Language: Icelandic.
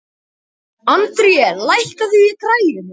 André, lækkaðu í græjunum.